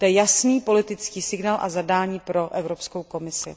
To je jasný politický signál a zadání pro Evropskou komisi.